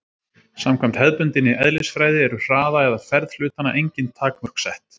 Samkvæmt hefðbundinni eðlisfræði eru hraða eða ferð hlutanna engin takmörk sett.